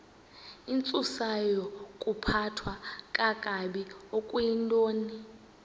intsusayokuphathwa kakabi okuyintoni